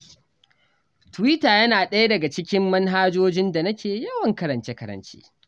Twitter yana ɗaya ɗaga cikin manhajojin da nake yawan karance-karance.